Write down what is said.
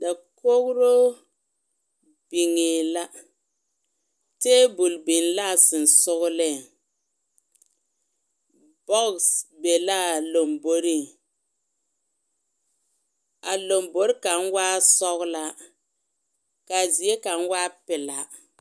Dakogiro biŋɛɛ la teebol biŋee a sonsogeleŋ bɔges be laa lomboriŋ a lombori kaŋ waa sɔgelaa ka a zie kaŋ meŋ waa pelaa.